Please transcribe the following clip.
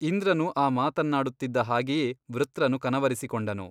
ಇಂದ್ರನು ಆ ಮಾತನ್ನಾಡುತ್ತಿದ್ದ ಹಾಗೆಯೇ ವೃತ್ರನು ಕನವರಿಸಿಕೊಂಡನು.